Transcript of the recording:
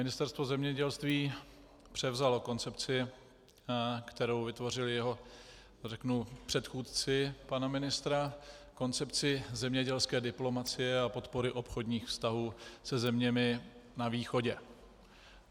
Ministerstvo zemědělství převzalo koncepci, kterou vytvořili jeho, řeknu, předchůdci, pana ministra, koncepci zemědělské diplomacie a podpory obchodních vztahů se zeměmi na východě.